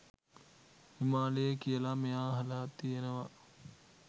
හිමාලයේ කියලා මෙයා අහලා තියෙනවා.